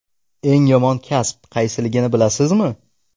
Eng yomon kasb qaysiligini bilasizmi?.